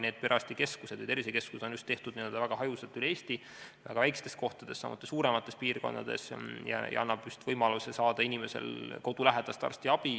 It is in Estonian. Need perearstikeskused ja tervisekeskused on tehtud väga hajusalt üle Eesti väiksetesse kohtadesse, samuti suurematesse piirkondadesse ja see annab võimaluse saada inimesel kodulähedast arstiabi.